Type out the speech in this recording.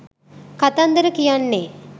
කතන්දර කියන්නේ